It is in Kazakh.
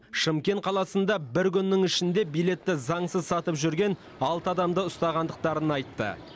шымкент қаласында бір күннің ішінде билетті заңсыз сатып жүрген алты адамды ұстағандықтарын айтты